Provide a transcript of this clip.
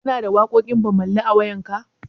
Kana da waƙoƙin Bammali a wayarka?